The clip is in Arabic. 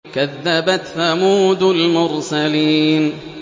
كَذَّبَتْ ثَمُودُ الْمُرْسَلِينَ